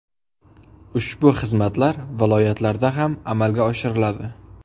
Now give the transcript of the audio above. Ushbu xizmatlar viloyatlarda ham amalga oshiriladi”.